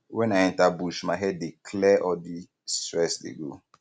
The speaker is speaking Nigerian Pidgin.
wen i enter bush my head dey um clear all di stress dey go